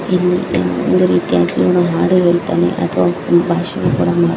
ಇಲ್ಲಿ ಒಂದು ರೀತಿಯಾಗೆ ಹಾಡು ಹೇಳ್ತಾನೆ ಅಥವಾ ಭಾಷಣೆ ಕೂಡ ಮಾಡ್ತಾ--